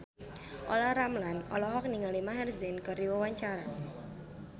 Olla Ramlan olohok ningali Maher Zein keur diwawancara